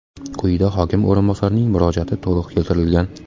Quyida hokim o‘rinbosarining murojaati to‘liq keltirilgan.